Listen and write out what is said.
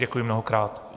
Děkuji mnohokrát.